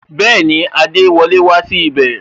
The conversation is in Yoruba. Bẹẹni, adewole wá sí ibè